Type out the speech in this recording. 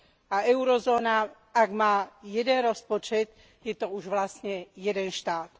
A Eurozóna, ak má jeden rozpočet, je to už vlastne jeden štát.